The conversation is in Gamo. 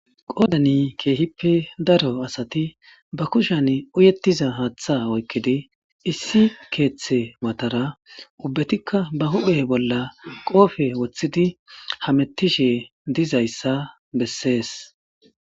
qoodani keehippe daro asati ba kushan uyettiza haaththa oykkidi issi keeththe matara ubbetikka ba huphe bolla qoofe woththidi hamettishe dizayssa bessees